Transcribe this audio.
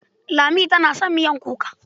Lami tana son miyar kuka.